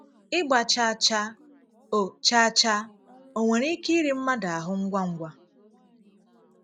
Ị́gba chàà chàà ò chàà chàà ò nwere ike íri mmadụ ahụ́ ngwa ngwa?